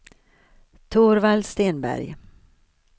Torvald Stenberg